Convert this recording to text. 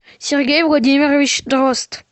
сергей владимирович дрозд